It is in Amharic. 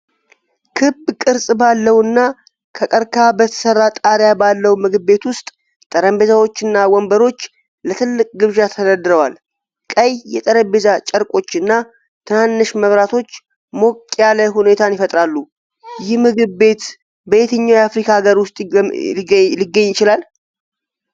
ክብ ቅርጽ ባለውና ከቀርከሃ በተሠራ ጣሪያ ባለው ምግብ ቤት ውስጥ ጠረጴዛዎችና ወንበሮች ለትልቅ ግብዣ ተደርድረዋል። ቀይ የጠረጴዛ ጨርቆችና ትንንሽ መብራቶች ሞቅ ያለ ሁኔታን ይፈጥራሉ። ይህ ምግብ ቤት በየትኛው አፍሪካዊ አገር ውስጥ ሊገኝ ይችላል?